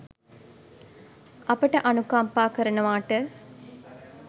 අපට අනුකම්පා කරනවාට.